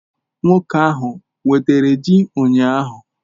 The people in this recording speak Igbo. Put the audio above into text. Nwoke ahu wetara ji ụnyahụ?